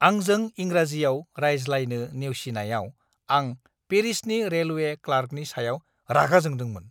आंजों इंराजियाव रायज्लायनो नेवसिनायाव आं पेरिसनि रेलवे क्लार्कनि सायाव रागा जोंदोंमोन!